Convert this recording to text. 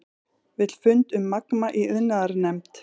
Vill fund um Magma í iðnaðarnefnd